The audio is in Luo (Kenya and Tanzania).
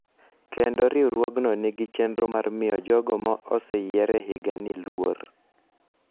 kendo riwruogno nigi chenro mar miyo jogo ma oseyier e higa ni luor,